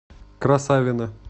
красавино